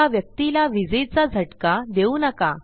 त्या व्यक्तीला विजेचा झटका देऊ नका